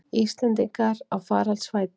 Íslendingar á faraldsfæti